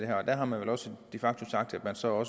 her og der har man vel også de facto sagt at man så